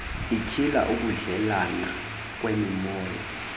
ityhila ukudleelana kwemimoya